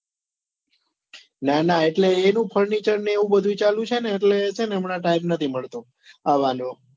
ના ના એટલે એનું furniture ને એવું બધું ચાલુ છે ને એટલે હમણા time નથી મળતો આવાનો